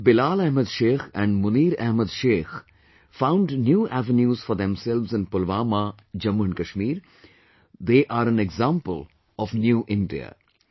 The way Bilal Ahmed Sheikh and Munir Ahmed Sheikh found new avenues for themselves in Pulwama, Jammu and Kashmir, they are an example of New India